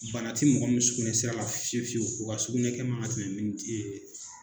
Bana ti mɔgɔ min sugunɛsera fiyewu fiyewu o ka sugunɛ man ka tɛmɛ ye